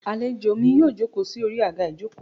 Alèjọ mí yóò jokọ́ sí Ori agá ìjokò